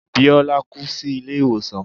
Bíọ́lá kú sí ilé ìwòsàn.